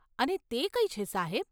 અને તે કઈ છે, સાહેબ?